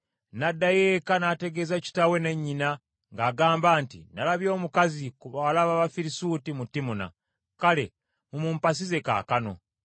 N’addayo eka, n’ategeeza kitaawe ne nnyina ng’agamba nti, “Nalabye omukazi ku bawala ab’Abafirisuuti mu Timuna. Kale mumumpasize kaakano.”